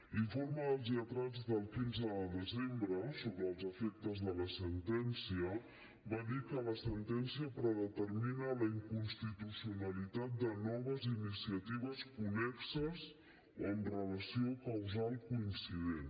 l’informe dels lletrats del quinze de desembre sobre els efectes de la sentència va dir que la sentència predetermina la inconstitucionalitat de noves iniciatives connexes o amb relació causal coincident